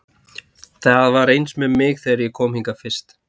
Það var eins með mig þegar ég kom hingað fyrst.